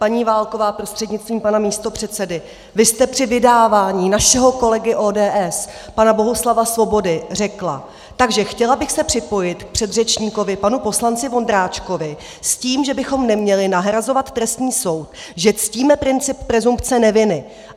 Pan Válková prostřednictvím pana místopředsedy, vy jste při vydávání našeho kolegy ODS pana Bohuslava Svobody řekla: "Takže chtěla bych se připojit k předřečníkovi panu poslanci Vondráčkovi s tím, že bychom neměli nahrazovat trestní soud, že ctíme princip presumpce neviny.